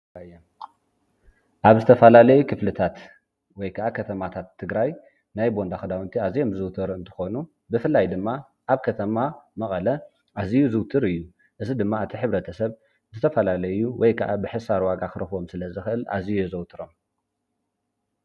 ኣብ ዝተፈላለይ ክፍልታት ወይ ከዓ ከተማታት ትግራይ ናይ ቦንዳ ክዳውንቲ ኣዝየም ዝውትር እንተኾኑ፣ ብፍላይ ድማ ኣብ ከተማ መቐለ ኣዝዩ ዙውትር እዩ። እዚ ድማ እቲ ሕብረተሰብ ብዝተፈላለዩ ወይ ከዓ ብሕሳር ዋጋ ክረክቦም ስለዝክእል ኣዚዩ የዘውትሮም።